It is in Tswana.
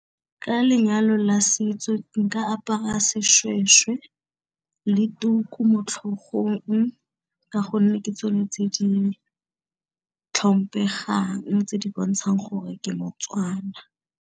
Ka lenyalo la setso nka apara seshweshwe le tuku motlhogong, ka gonne ke tsone tse di tlhompegang, tse di bontshang gore ke mo-Tswana.